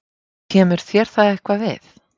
Kemur þér það eitthvað við?